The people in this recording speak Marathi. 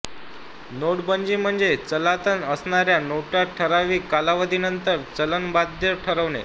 नोटबंदी म्हणजे चलनात असणाऱ्या नोटा ठराविक कालावधी नंतर चलन बाह्य ठरवणे